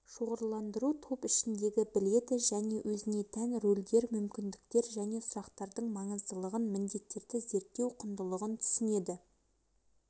шоғырландыру топ ішіндегі біледі өзіне тән рөлдер мүмкіндіктер және сұрақтардың маңыздылығын міндеттерді зерттеу құндылығын түсінеді